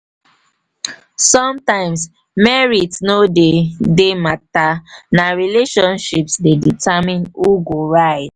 sometimes merit no dey dey matter; na relationships dey determine who go rise.